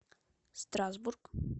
страсбург